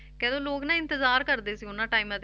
ਕਹਿੰਦੇ ਲੋਕ ਨਾ ਇੰਤਜ਼ਾਰ ਕਰਦੇ ਸੀ ਉਹਨਾਂ ਟਾਇਮਾਂ ਤੇ